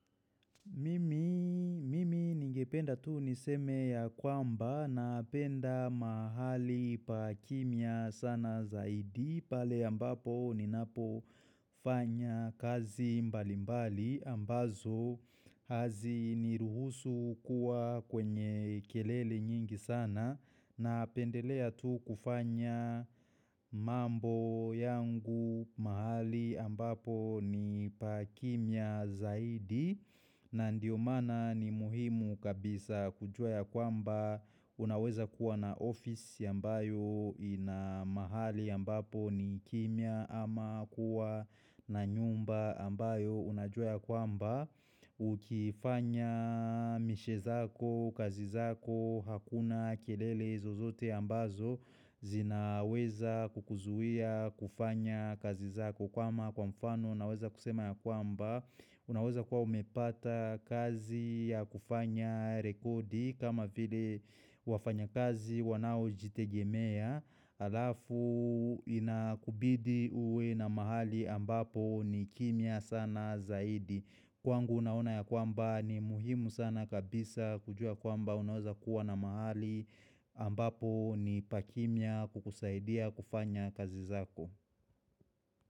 Mimi nigependa tu niseme ya kwamba napenda mahali pa kimya sana zaidi pale ambapo ninapo fanya kazi mbalimbali ambazo haziniruhusu kuwa kwenye kelele nyingi sana napendelea tu kufanya mambo yangu mahali ambapo ni pa kimya zaidi na ndio maana ni muhimu kabisa kujua ya kwamba unaweza kuwa na ofisi ambayo ina mahali ambapo ni kimya ama kuwa na nyumba ambayo unajua ya kwamba Ukifanya mishe zako, kazi zako, hakuna kelele zozote ambazo zinaweza kukuzuia kufanya kazi zako kama kwa mfano naweza kusema ya kwamba Unaweza kwa umepata kazi ya kufanya rekodi kama vile wafanya kazi wanaojitegemea Halafu inakubidi uwe na mahali ambapo ni kimya sana zaidi Kwangu unaona ya kwamba ni muhimu sana kabisa kujua kwamba unaweza kuwa na mahali ambapo ni pa kimya kukusaidia kufanya kazi zako.